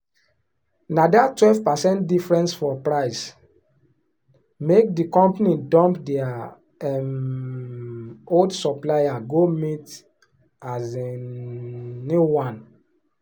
na that twelve percent difference for price make the company dump their um old supplier go meet um new one.